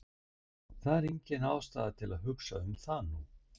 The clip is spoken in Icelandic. En það er engin ástæða til að hugsa um það nú.